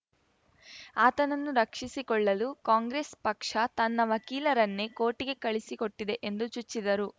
ಆತನನ್ನು ರಕ್ಷಿಸಿಕೊಳ್ಳಲು ಕಾಂಗ್ರೆಸ್‌ ಪಕ್ಷ ತನ್ನ ವಕೀಲರನ್ನೇ ಕೋರ್ಟಿಗೆ ಕಳುಹಿಸಿಕೊಟ್ಟಿದೆ ಎಂದು ಚುಚ್ಚಿದರು